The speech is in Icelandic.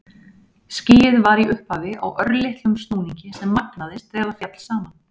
Skýið var í upphafi á örlitlum snúningi sem magnaðist þegar það féll saman.